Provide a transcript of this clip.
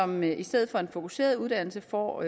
men i stedet for en fokuseret uddannelse får